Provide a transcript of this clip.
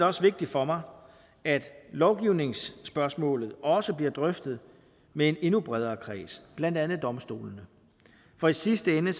også vigtigt for mig at lovgivningsspørgsmålet også bliver drøftet med en endnu bredere kreds blandt andet domstolene for i sidste ende